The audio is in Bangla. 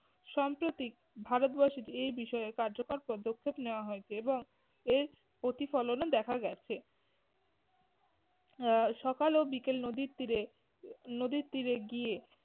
সম্প্রতিক ভারতবর্ষে যে এই বিষয়ে কার্যকর পদক্ষেপ নেয়া হয়েছে। এবং এর প্রতিফলনও দেখা গেছে। আহ সকাল ও বিকেল নদীর তীরে নদীর তীরে গিয়ে